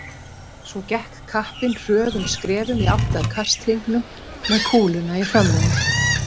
Svo gekk kappinn hröðum skrefum í átt að kasthringnum með kúluna í hrömmunum.